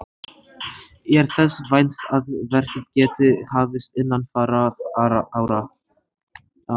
Er þess vænst að verkið geti hafist innan fárra ára.